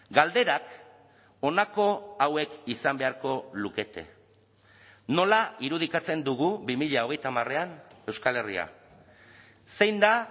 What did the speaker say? galderak honako hauek izan beharko lukete nola irudikatzen dugu bi mila hogeita hamarean euskal herria zein da